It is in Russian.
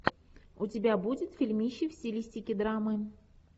у тебя будет фильмище в стилистике драмы